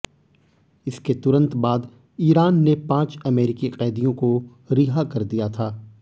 इसके तुरंत बाद ईरान ने पांच अमेरिकी कैदियों को रिहा कर दिया था